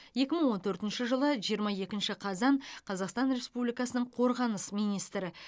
екі мың он төртінші жылы жиырма екінші қазан қазақстан республикасының қорғаныс министрі